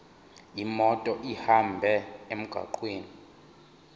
imoto ihambe emgwaqweni